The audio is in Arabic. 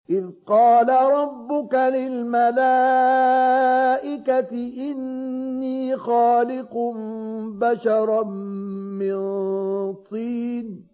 إِذْ قَالَ رَبُّكَ لِلْمَلَائِكَةِ إِنِّي خَالِقٌ بَشَرًا مِّن طِينٍ